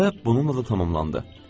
Məsələ bununla da tamamlandı.